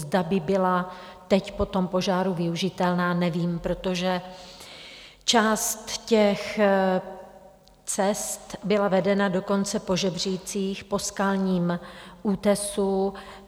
Zda by byla teď po tom požáru využitelná, nevím, protože část těch cest byla vedena dokonce po žebřících, po skalním útesu.